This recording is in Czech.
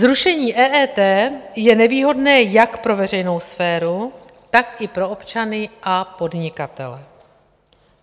Zrušení EET je nevýhodné jak pro veřejnou sféru, tak i pro občany a podnikatele.